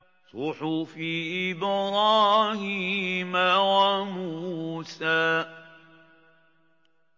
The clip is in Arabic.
صُحُفِ إِبْرَاهِيمَ وَمُوسَىٰ